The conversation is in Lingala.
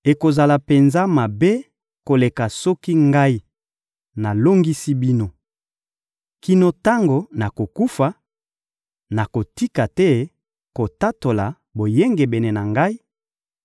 Ekozala penza mabe koleka soki ngai nalongisi bino! Kino tango nakokufa, nakotika te kotatola boyengebene na ngai,